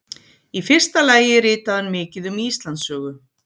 Í fyrsta lagi ritaði hann mikið um Íslandssögu.